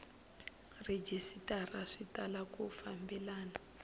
rhejisitara swi tala ku fambelana